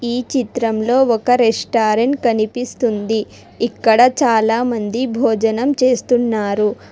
ఈ చిత్రంలో ఒక రెస్టారెంట్ కనిపిస్తుంది ఇక్కడ చాలా మంది భోజనం చేస్తున్నారు.